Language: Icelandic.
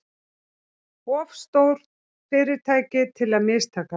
Of stór fyrirtæki til að mistakast